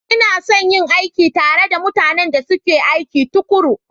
Ina son yin aiki tare da mutanen da suke aiki tuƙuru.